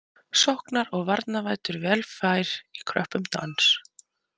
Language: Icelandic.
Sóknar- og varnarvæddur vel fær í kröppum dans.